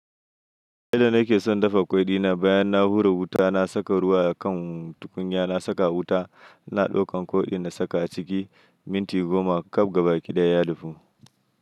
Yadda nake son dafa ƙwai di na bayan na hura wuta, na saka ruwa a kan tukunya, na saka wuta, na ɗaukan ƙwai na saka a ciki minti goma, kaf gaba ki ɗaya ya dafu.